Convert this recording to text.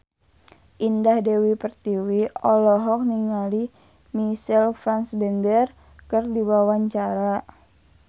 Indah Dewi Pertiwi olohok ningali Michael Fassbender keur diwawancara